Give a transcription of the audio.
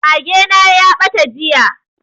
Mage na ya ɓata jiya